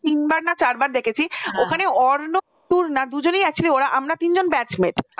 তিনবার না চারবার দেখেছি, ওখানে অর্ণব তূর্ণা দুজনেই একসাথে ওরা আমরা তিনজন batch mate । আর অনির্বাণ আমাদের senior batch